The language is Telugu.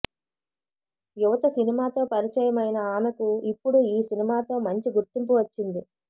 యువత సినిమాతో పరిచయమైన ఆమెకు ఇప్పుడు ఈ సినిమాతో మంచి గుర్తింపు వచ్చింది